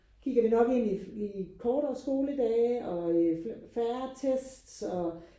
Kigger vi nok ind i kortere skoledage og færre tests og